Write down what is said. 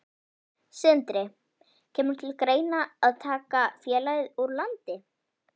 Sindri: Kemur til greina að taka félagið úr landi?